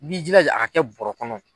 I b'i jilaja a ka kɛ bɔɔrɔ kɔnɔ.